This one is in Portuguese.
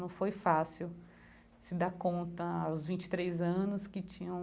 Não foi fácil se dar conta aos vinte e três anos que tinham